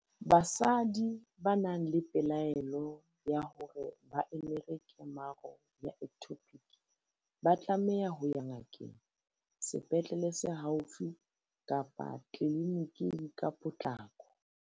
Basadi ba nang le pelaelo ya hore ba emere kemaro ya ectopic ba tlameha ho ya ngakeng, sepetlele se haufi kapa tleliniking ka potlako.